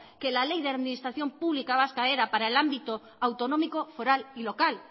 que la ley de administración pública vasca era para el ámbito autonómico foral y local